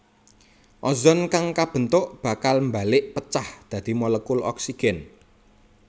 Ozon kang kabentuk bakal mbalék pecah dadi molekul oksigen